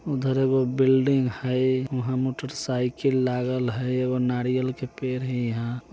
उधर एगो बिल्डिंग हई उहा मोटर साइकल लगल हई एगो नारियल के पेड़ हई इहाँ --